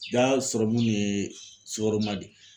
Jaa sɔrɔmun in ye sukaroman de ye.